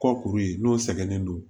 Kɔkuru ye n'o sɛgɛnnen don